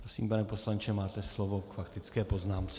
Prosím, pane poslanče, máte slovo k faktické poznámce.